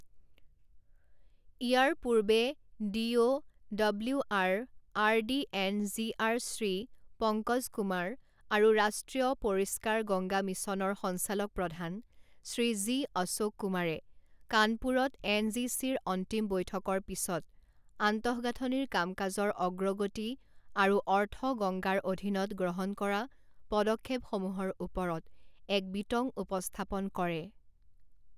ইয়াৰ পূৰ্বে D O W R, R D and G R Shri Pankaj Kumar আৰু ৰাষ্ট্ৰীয় পৰিষ্কাৰ গংগা মিছনৰ সঞ্চালক প্ৰধান শ্ৰী জি অশোক কুমাৰে কানপুৰত এনজিচিৰ অন্তিম বৈঠকৰ পিছত আন্তঃগাঁথনিৰ কাম কাজৰ অগ্ৰগতি আৰু অৰ্থ গংগাৰ অধীনত গ্ৰহণ কৰা পদক্ষেপসমূহৰ ওপৰত এক বিতং উপস্থাপন কৰে।